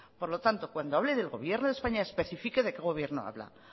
por lo tanto cuando hable del gobierno de españa especifique de qué gobierno habla